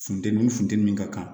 Funteni ni funteni min ka kan